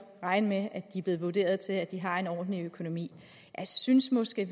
regne med at de er blevet vurderet til at de har en ordentlig økonomi jeg synes måske